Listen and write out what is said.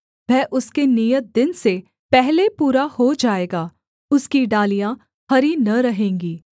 वह उसके नियत दिन से पहले पूरा हो जाएगा उसकी डालियाँ हरी न रहेंगी